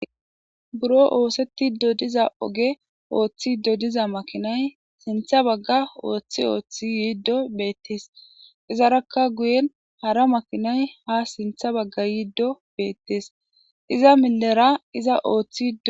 buro oosetti dodiza oge ooththi dodiza makinay sintha bagga ooththi ooththi yiiddo beettees izarakka guyen hara makinay ha sintha bagga yiiddo beettes iza millera iza ooththio